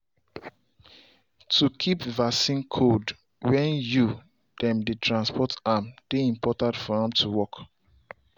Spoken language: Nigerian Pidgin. to keep vaccine cold when you dem dey transport am dey important for em to work